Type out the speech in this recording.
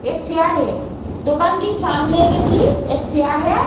एक चेयर है। दुकान के सामने में भी एक चेयर है।